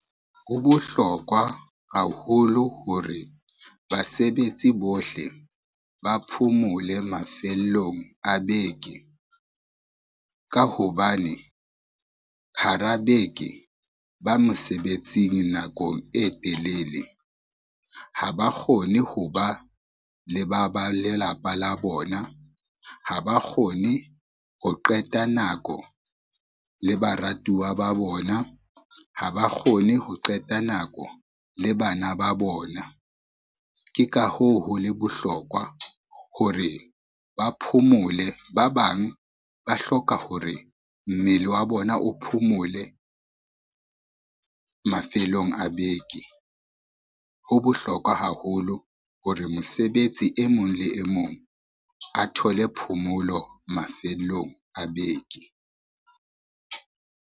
Ho bohlokwa haholo hore basebetsi bohle ba phomole mafellong a beke, ka hobane hara beke, ba mosebetsing nakong e telele. Ha ba kgone ho ba le ba ba lelapa la bona, ha ba kgone ho qeta nako le baratuwa ba bona, ha ba kgone ho qeta nako le bana ba bona. Ke ka hoo ho le bohlokwa hore ba phomole, ba bang ba hloka hore mmele wa bona o phomole mafelong a beke. Ho bohlokwa haholo hore mosebetsi e mong le e mong a thole phomolo mafellong a beke.